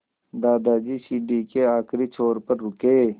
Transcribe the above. दादाजी सीढ़ी के आखिरी छोर पर रुके